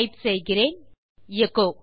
type செய்கிறேன் echo